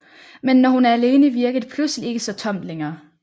Men når hun er alene virker det pludselig ikke så tomt længere